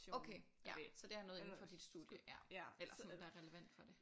Okay ja så det er noget inden for dit studie ja eller sådan der er relevant for det